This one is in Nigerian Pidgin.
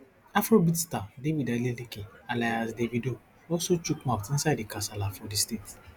afrobeats star david adeleke alias davido also chook mouth inside di kasala for di state